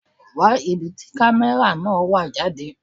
Wá ibi tí camera náà wà jáde.